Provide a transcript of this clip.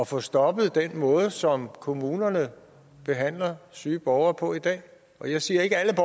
få stoppet den måde som kommunerne behandler syge borgere på i dag og jeg siger ikke at